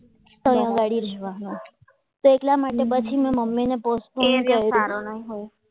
અહીંયા આગળ તો એટલા માટે મેં મમ્મીને કરી પોસ્ટ ફોન કર્યો